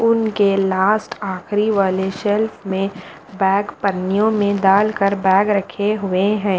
उनके लास्ट आख़िरी वाले शेल्फ में बैग पन्नियों में डाल कर बैग रखे हुए हैं।